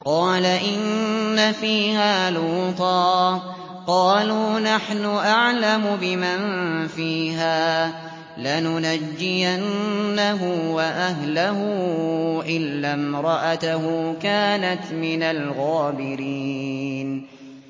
قَالَ إِنَّ فِيهَا لُوطًا ۚ قَالُوا نَحْنُ أَعْلَمُ بِمَن فِيهَا ۖ لَنُنَجِّيَنَّهُ وَأَهْلَهُ إِلَّا امْرَأَتَهُ كَانَتْ مِنَ الْغَابِرِينَ